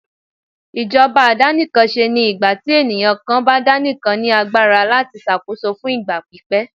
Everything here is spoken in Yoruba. ìjọba àdàníkánsé ní ìgbàtí eniyan kan bá daníkán ní agbara latí ṣàkóso fún ìgbà pípẹ́.